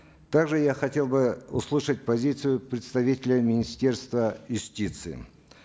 также я хотел бы услышать позицию представителя министерства юстиции